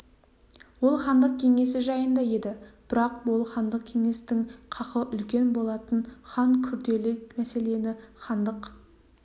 ол хандық кеңесі жайында еді бұрақ ол хандық кеңестің қақы үлкен болатын хан күрделі мәселені хандық